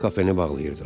Kafeni bağlayırdılar.